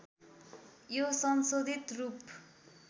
यो संशोधित रूप